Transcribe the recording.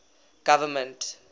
government